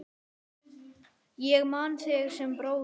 Ég man þig sem bróður.